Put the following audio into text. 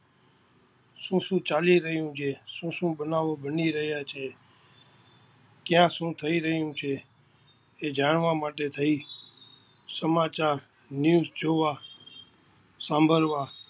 શું શું ચાલી રહ્યું છે, શું શું બનાવો બની રહ્યાં છે, ક્યાં શું થઈ રહ્યું છે, તે જાણવા માટે થઈ સમાચાર News જોવા સાંભલવા